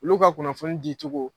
Olu ka kunnafoni di cogo